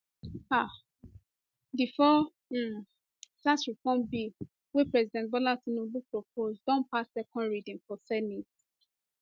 um di four um tax reform bill wey president bola tinubu propose don pass second reading for senate